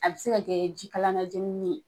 A bɛ se ka kɛ ji kalan najeni